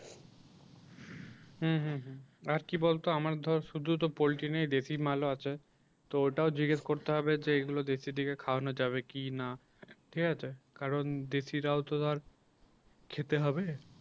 হুম হুম হুম আর কি বলতো আমার ধর শুধু তো পোল্টি নেই দেশি মালও আছে। তো ওটাও জিজ্ঞেস করতে হবে যে এগুলো দেশি দিকে খাওয়ানো যাবে কিনা ঠিক আছে কারণ দেশি রাও তো ধর খেতে হবে